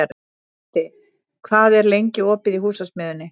Baddi, hvað er lengi opið í Húsasmiðjunni?